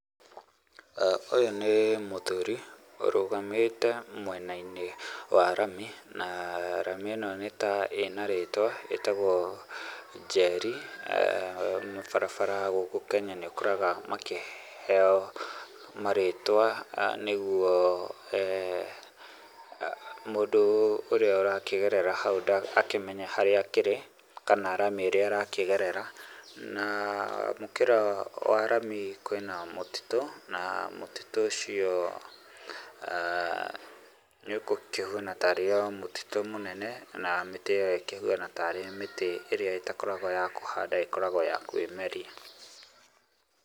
Ũyũ nĩ mũthuri ũrũgamite mwena-inĩ wa rami. Na rami ĩno nĩta ĩna rĩtwa, ĩtagwo Njeri. Mabarabara gũkũ Kenya nĩ ũkoraga makĩheo marĩtwa nĩguo mũndũ ũrĩa ũrakĩgerera hau akĩmenye harĩa akĩrĩ kana rami ĩrĩa arakĩgerera. Na mũkĩra wa rami kwĩna mũtitũ na mũtitũ ũcio nĩ ũkĩhuana tarĩ o mũtitũ mũnene, na mĩtĩ ĩyo ĩkĩhuana tarĩ mĩtĩ ĩrĩa ĩtakoragwo ya kũhandwo ĩkoragwo ya kwĩmeria.